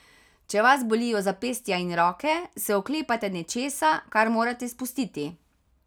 Če vas bolijo zapestja in roke, se oklepate nečesa, kar morate spustiti.